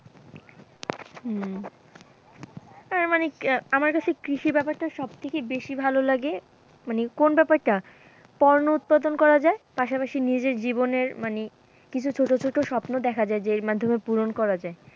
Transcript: হম আর মানে আমার কাছে কৃষি ব্যাপারটা সবথেকে বেশি ভালো লাগে, মানে কোন ব্যাপারটা পণ্য উৎপাদন করা যায়, পাশাপাশি নিজের জীবনের মানে কিছু ছোট ছোট স্বপ্ন দেখা যায় যে মাধ্যমে পূরণ করা যায়,